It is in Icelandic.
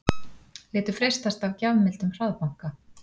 Létu freistast af gjafmildum hraðbanka